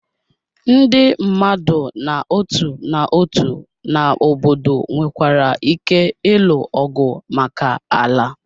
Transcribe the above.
Ndị mmadụ n'otu n'otu na obodo nwekwara ike ịlụ ọgụ maka ala.